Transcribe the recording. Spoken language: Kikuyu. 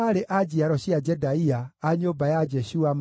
na Asina, na Meunimu, na Nefisimu,